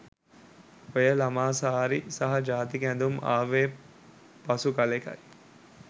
ඔය ළමා සාරි සහ ජාතික ඇඳුම් ආවේ පසු කළෙකයි.